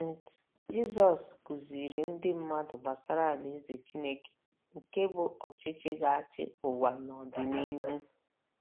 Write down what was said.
nt Jizọs kụziiri ndị mmadụ gbasara Alaeze Chineke nke bụ́ ọchịchị ga - achị ụwa n’ọdịnihu